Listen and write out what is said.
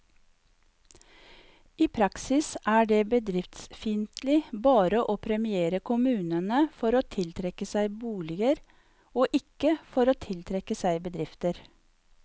I praksis er det bedriftsfiendtlig bare å premiere kommunene for å tiltrekke seg boliger, og ikke for å tiltrekke seg bedrifter.